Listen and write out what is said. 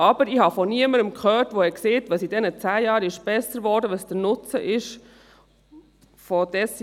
Allerdings habe ich von niemandem gehört, was während dieser zehn Jahren besser geworden und welches der Nutzen sei.